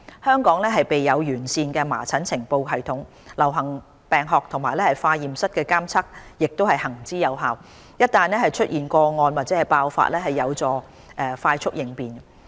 香港備有完善的麻疹呈報系統，流行病學和化驗室監測亦行之有效，一旦出現個案或爆發，有助快速應變。